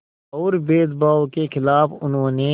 और भेदभाव के ख़िलाफ़ उन्होंने